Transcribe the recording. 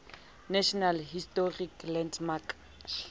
national historic landmark